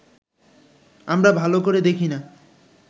আমরা ভালো করে দেখি না